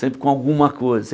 Sempre com alguma coisa.